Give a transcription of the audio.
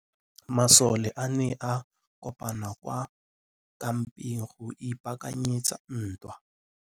Masole a ne a kopane kwa kampeng go ipaakanyetsa ntwa.